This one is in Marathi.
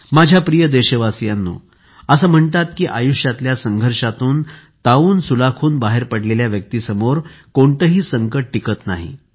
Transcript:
माझ्या प्रिय देशवासियांनो असे म्हणतात की आयुष्यातल्या संघर्षातून तावूनसुलाखून बाहेर पडलेल्या व्यक्तीसमोर कोणतेही संकट टिकत नाही